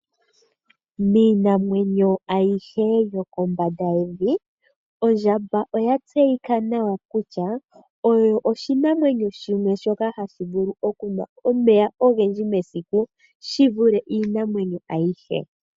Miinamwenyo ayihe yo kombanda yevi, ondjamba oya tseyika kutya, osho oshinamwenyo shoka hashi vulu okunwa omeya ogendji mesiku, shi vule iinamwenyo ayihe.